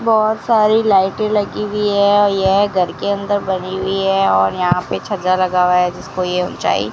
बहोत सारी लाइट लगी हुई है यह घर के अंदर बनी हुई है और यहां पे छज्जा लगा हुआ है जिसको ये ऊंचाई --